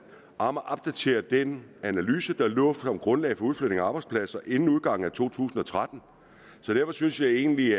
at opdatere den analyse der lå som grundlag for udflytning af arbejdspladser inden udgangen af to tusind og tretten derfor synes jeg egentlig